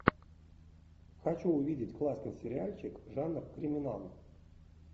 хочу увидеть классный сериальчик жанр криминал